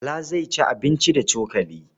Bala zai ci abinci da cokali.